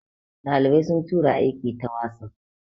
dalibai sun tura aiki ta wasof